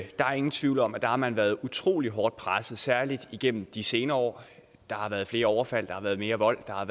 er ingen tvivl om at der har man været utrolig hårdt presset særlig igennem de senere år hvor der har været flere overfald mere vold og